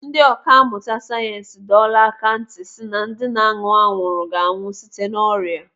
Ndị ọkà mmụta sayensị dọọla aka ntị si na ndị na-aṅụ anwụrụ ga-anwụ site n'ọrịa.